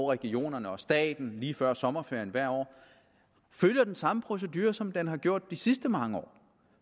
regionerne og staten lige før sommerferien hvert år følger den samme procedure som den har gjort de sidste mange år